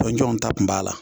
Jɔn ta kun b'a la